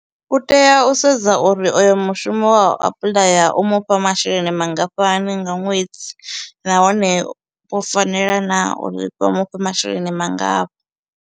U tea u sedza uri oyo mushumo we a u apuḽaya u mufha masheleni mangafhani nga ṅwedzi, nahone o fanela naa uri vha mufhe masheleni mangafha.